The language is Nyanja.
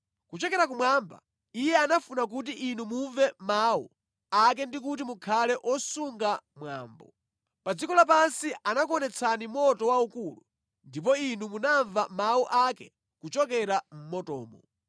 Kuchokera kumwamba, Iye anafuna kuti inu mumve mawu ake ndi kuti mukhale osunga mwambo. Pa dziko lapansi anakuonetsani moto waukulu, ndipo inu munamva mawu ake kuchokera mʼmotomo.